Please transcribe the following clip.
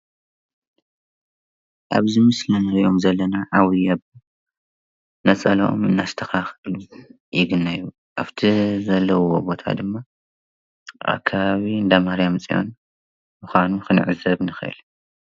ኣብዚ ምስሊ እንርእዮም ዘለና ዓብይ ኣቦ ነፀለኦም እንዳስተኻኸሉ ይግነዩ። ኣብቲ ዘለውዎ ቦታ ድማ ኣከባቢ እንዳማርያም ፅዮን ምዃኑ ክንዕዘብ ንክእል።